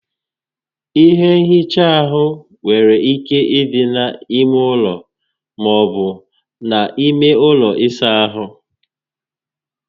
Ihe nhicha áhụ nwere ike ịdị na ímé ụlọ, maọbu na ime ụlọ ịsa ahụ